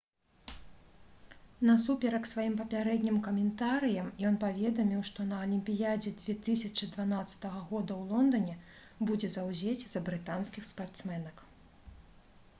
насуперак сваім папярэднім каментарыям ён паведаміў што на алімпіядзе 2012 г у лондане будзе заўзець за брытанскіх спартсменак